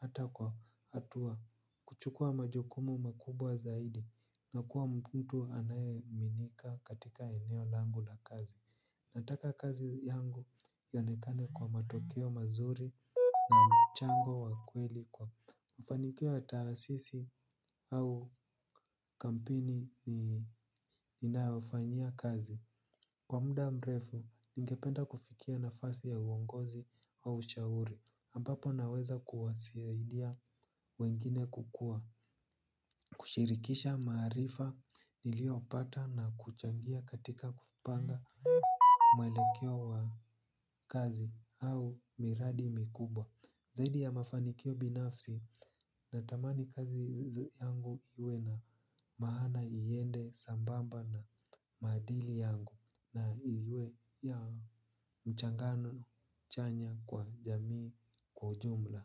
hata kwa hatua. Kuchukua majukumu makubwa zaidi. Nakua mtu anayeaminika katika eneo langu la kazi. Nataka kazi yangu yaonekane kwa matokeo mazuri. Na mchango wa kweli kwa mafanikio ya taasisi au kampuni ni ninayofanyia kazi. Kwa muda mrefu, ningependa kufikia nafasi ya uongozi wa ushauri ambapo naweza kuwasaidia wengine kukua. Kushirikisha maarifa niliyopata na kuchangia katika kupanga mwelekeo wa kazi au miradi mikubwa. Zaidi ya mafanikio binafsi natamani kazi yangu iwe na maana iende sambamba na maadili yangu na iwe ya mchangano chanya kwa jamii kwa ujumla.